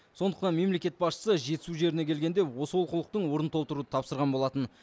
сондықтан мемлекет басшысы жетісу жеріне келгенде осы олқылықтың орнын толтыруды тапсырған болатын